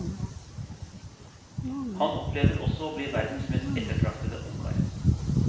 Han opplever også å bli verdens mest ettertraktede ungkar.